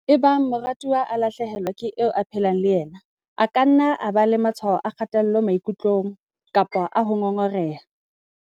"Ebang morutwana a lahle helwa ke eo a phelang le yena, a ka nna a ba le matshwao a kgatello maikutlong kapa a ho ngongoreha."